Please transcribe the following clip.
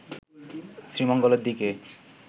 শ্রীমঙ্গলের দিকে